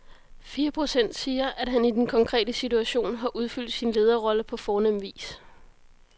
Fire procent siger, at han i den konkrete situation har udfyldt sin lederrolle på fornem vis.